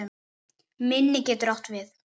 Minni getur átt við